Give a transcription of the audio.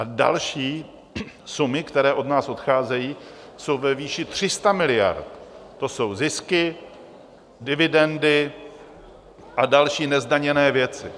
A další sumy, které od nás odcházejí, jsou ve výši 300 miliard, to jsou zisky, dividendy a další nezdaněné věci.